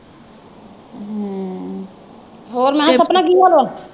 ਹੋਰ ਮੈਂ ਕਿਹਾ ਸਪਨਾ ਕੀ ਹਾਲ ਹੈ?